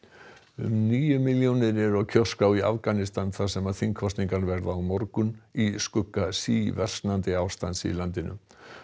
um níu milljónir eru á kjörskrá í Afganistan þar sem þingkosningar verða á morgun í skugga síversnandi ástands í landinu